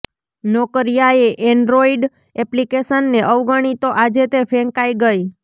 નોકિયાએ Android એપ્લિકેશનને અવગણી તો આજે તે ફેંકાઈ ગઈ